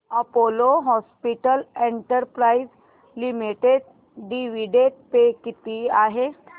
Apollo hospitals enterprise limited dividend pay किती आहे